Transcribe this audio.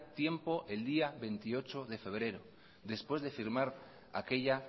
tiempo el día veintiocho de febrero después de firmar aquella